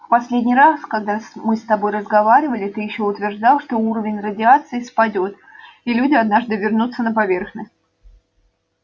в последний раз когда мы с тобой разговаривали ты ещё утверждал что уровень радиации спадёт и люди однажды вернутся на поверхность